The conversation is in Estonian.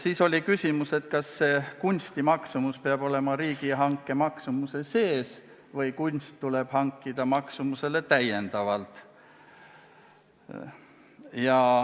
Siis oli küsimus selle kohta, kas kunstiteose maksumus peab olema riigihanke maksumuse sees või tuleb kunstiteos hankida lisaraha eest.